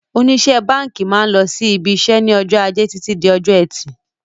Oníṣe báńkì máa ń lọ sí IBIṢẸ́ ní ọjọ́ ajé Títí di ọjọ́ ẹtì.